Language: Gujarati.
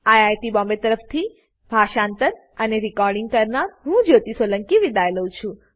આઇઆઇટી બોમ્બે તરફથી હું જ્યોતી સોલંકી વિદાય લઉં છું